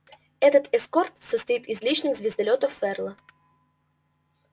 этот эскорт состоит из личных звездолётов ферла